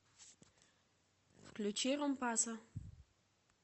включи ромпассо